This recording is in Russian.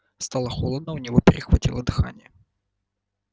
стало холодно у него перехватило дыхание